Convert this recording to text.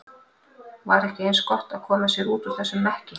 Var ekki eins gott að koma sér út úr þessum mekki?